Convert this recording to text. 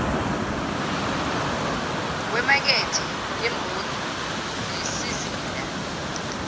wemakethe yemboni nesizinda